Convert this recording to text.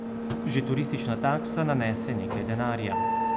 Že turistična taksa nanese nekaj denarja.